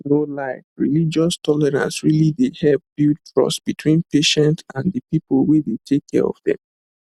no lie religious tolerance really dey help build trust between patients and the people wey dey take care of dem